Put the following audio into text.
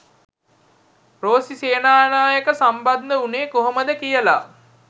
රෝසි සේනානායක සම්බන්ද වුනේ කොහොමද කියලා.